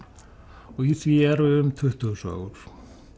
og í því eru um tuttugu sögur